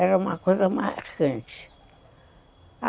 Era uma coisa marcante.